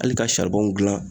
Ali ka saribɔn gilan